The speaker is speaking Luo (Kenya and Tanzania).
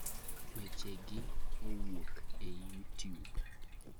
Wechegi owuok e: YouTube.